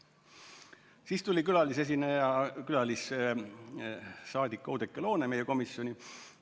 Siis tuli külalisesineja, külalissaadik Oudekki Loone meie komisjoni.